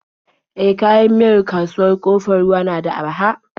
E, kayan miyar kasuwar Ƙofar Ruwa na da araha.